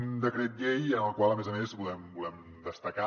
un decret llei en el qual a més a més volem destacar